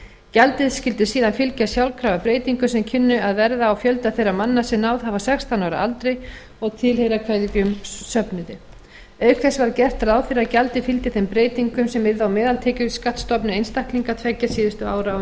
gjaldið skyldi síðan fylgja sjálfkrafa breytingum sem kynnu að verða á fjölda þeirra manna sem náð hafa sextán ára aldri og tilheyra hverjum söfnuði auk þess var gert ráð fyrir að gjaldið fylgdi þeim breytingum sem yrðu á meðaltekjuskattsstofni einstaklinga tveggja síðustu ára á